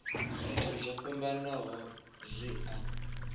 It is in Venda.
zwithu zwo fhambanaho zwi a